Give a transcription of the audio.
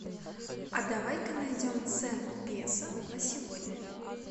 а давай ка найдем цену песо на сегодня